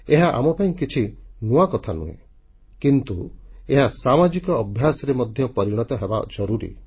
ଏହା ଆମପାଇଁ କିଛି ନୂଆ କଥା ନୁହେଁ କିନ୍ତୁ ଏହା ସାମାଜିକ ଅଭ୍ୟାସରେ ମଧ୍ୟ ପରିଣତ ହେବା ଜରୁରୀ